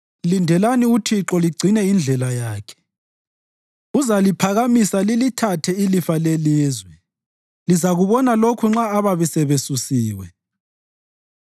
Lindelani uThixo ligcine indlela yakhe. Uzaliphakamisa lilithathe ilifa lelizwe; lizakubona lokhu nxa ababi sebesusiwe.